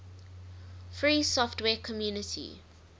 free software community